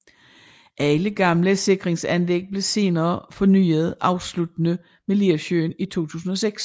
Alle gamle sikringsanlæg blev senere fornyet afsluttende med Lersøen i 2006